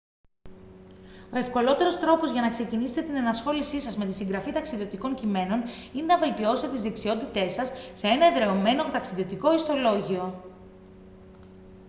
ο ευκολότερος τρόπος για να ξεκινήσετε την ενασχόλησή σας με τη συγγραφή ταξιδιωτικών κειμένων είναι να βελτιώσετε τις δεξιότητές σας σε ένα εδραιωμένο ταξιδιωτικό ιστολόγιο